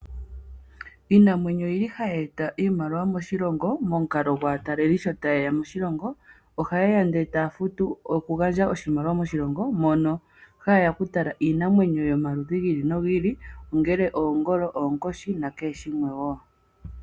Iinamwenyo oyili hayi eta iimaliwa moshilongo momukalo gwaataleli sho taye moshilongo ohayeya ndee taa futu okugandja oshimaliwa moshilongo mono haye ya okutala iinamwenyo yomaludhi gi ili nogi ili ongele oongolo, oonkoshi nakehe shimwe wo.